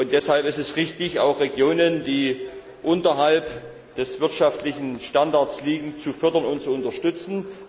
Deshalb ist es richtig, auch Regionen, die unterhalb des wirtschaftlichen Standards liegen, zu fördern und zu unterstützen.